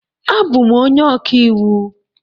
Abụ m onye ọka iwu